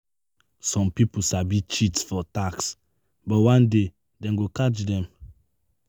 Some people sabi cheat for tax, but one day dem go catch them.